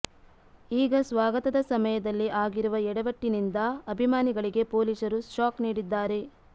ಈಗ ಸ್ವಾಗತದ ಸಮಯದಲ್ಲಿ ಆಗಿರುವ ಯಾಡವಟ್ಟಿನಿಂದ ಅಭಿಮಾನಿಗಳಿಗೆ ಪೊಲೀಸರು ಶಾಕ್ ನೀಡಿದ್ದಾರೆ